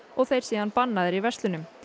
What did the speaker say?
og þeir síðan bannaðir í verslunum